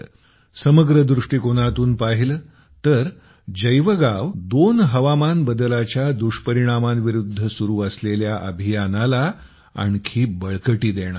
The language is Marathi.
समग्र दृष्टीकोनातून पाहिले तर जैवगाव 2 हवामान बदलाच्या दुष्परिणामांविरुद्ध सुरु असलेल्या अभियानाला आणखी बळकटी देणार आहे